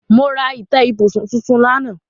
Mo ra ìtẹ́ ibùsùn tuntun lánàá.